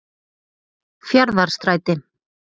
Fjarðarstræti